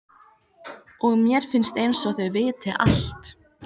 Og mér finnst einsog þau viti allt.